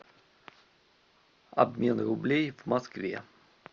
обмен рублей в москве